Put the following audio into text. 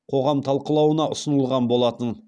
қоғам талқылауына ұсынылған болатын